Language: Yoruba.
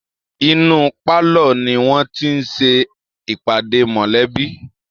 Inú pálọ ni wọ́n ti ń ṣe ìpàdé mọ̀lẹ́bí báyìí